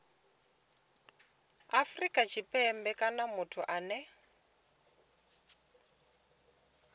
afrika tshipembe kana muthu ane